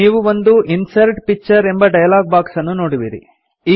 ನೀವು ಒಂದು insert picture ಎಂಬ ಡಯಲಾಗ್ ಬಾಕ್ಸ್ ಅನ್ನು ನೋಡುವಿರಿ